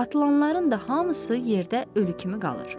Atılanların da hamısı yerdə ölü kimi qalır.